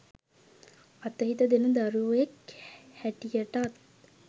අතහිත දෙන දරුවෙක් හැටියටත්